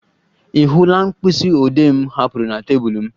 Ị hụla mkpịsị odee m hapụrụ na tebụl m?